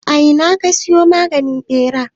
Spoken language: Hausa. A ina ka siyo maganin ɓeran?